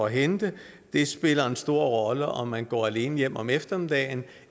hente og det spiller en stor rolle om man går alene hjem om eftermiddagen